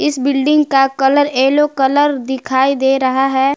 Building का colour yellow colour दिखाई दे रहा है।